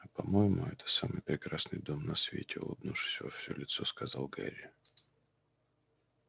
а по-моему это самый прекрасный дом на свете улыбнувшись во все лицо сказал гарри